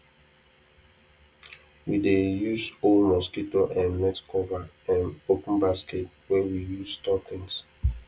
we dey use old mosquito um net cover um open basket wey we use store things